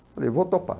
Falei, vou topar.